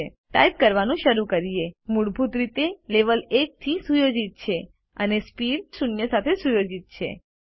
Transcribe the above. હવે ટાઇપ કરવાનું શરૂ કરીએ મૂળભૂત રીતે લેવેલ 1 થી સુયોજિત છે અને સ્પીડ ગતિ શૂન્ય સાથે સુયોજિત થયેલ છે